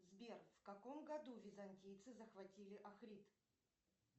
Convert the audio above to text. сбер в каком году византийцы захватили акрит